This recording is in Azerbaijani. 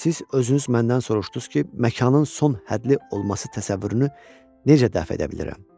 Siz özünüz məndən soruşdunuz ki, məkanın son həddli olması təsəvvürünü necə dəf edə bilərəm?